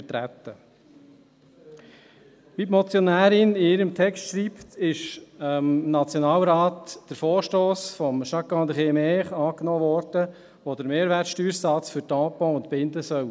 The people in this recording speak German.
Wie die Motionärin in ihrem Text schreibt, wurde im Nationalrat der Vorstoss von Jacques-André Maire angenommen, der den Mehrwertsteuersatz für Tampons und Binden senken soll.